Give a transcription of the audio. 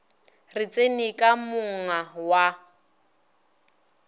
re tseni ka monga wa